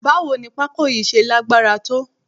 Báwo ni pako yìí ṣe lágbára tó?